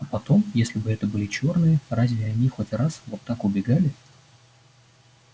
а потом если бы это были чёрные разве они хоть раз вот так убегали